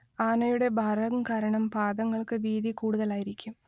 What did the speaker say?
ആനയുടെ ഭാരം കാരണം പാദങ്ങൾക്ക് വീതി കൂടുതലായിരിക്കും